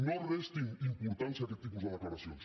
no restin importància a aquests tipus de declaracions